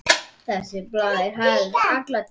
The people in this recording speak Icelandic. Þessi blær hélst alla tíð.